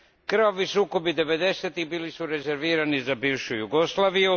Krvavi sukobi devedesetih bili su rezervirani za bivšu Jugoslaviju.